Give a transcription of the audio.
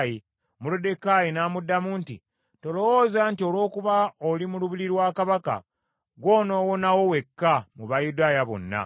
Moluddekaayi n’amuddamu nti, “Tolowooza nti olw’okuba oli mu lubiri lwa Kabaka, gwe onowonawo wekka mu Bayudaaya bonna.